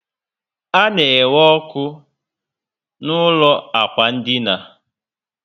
A na enwe ọkụ na ụlọ ákwà dina